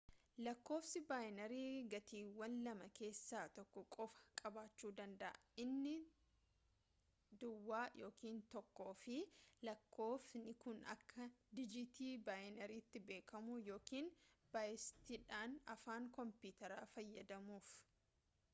lakkoofsi baayinarii gatiiwwan lamaa keessa tokko qofa qabachu danda'a inni 0 yookiin 1 fi lakkofsotni kun akka dijiitii baayinariti beekamu-yookiin baayitsidhaan afaan koompiyutaara fayyadamuuf